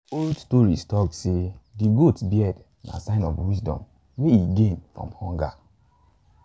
old stories talk say say de goat beard na sign of wisdom wey e gain from hunger